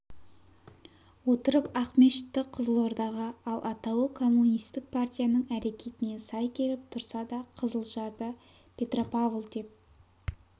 отырып ақмешітті қызылордаға ал атауы коммунистік партияның әрекетіне сай келіп тұрса да қызылжарды петрjпавл деп